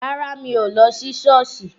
Rárá, mi ò lọ sí Șọ́ọ̀sì.